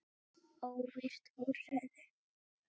Óvirkt úrræði?